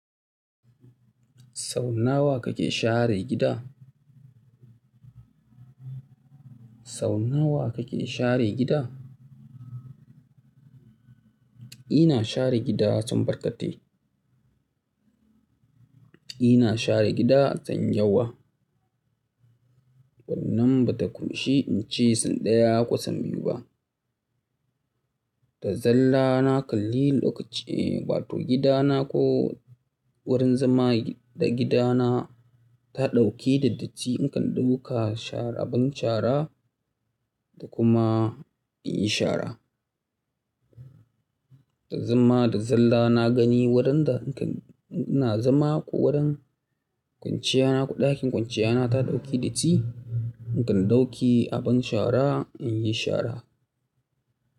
Sau nawa kake share gida? Sau nawa kake share gida? Ina share gida sau barkatai. Ina share gida sau da yawa. Wannan ba ta ƙunshi in ce sau ɗaya ko sau biyu ba. Da zalla na kalli lokaci, eh, wato gida na ko wurin zama da gida na ta ɗauki da datti in kan ɗauka shara, abin shara da kuma in yi shara. Da zuma, da zalla na gani wurin da in ina zama ko wurin kwanciya na ko ɗakin kwanciya na ta ɗauki datti in kan ɗauki abin shara, in yi shara.